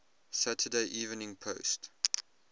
saturday evening post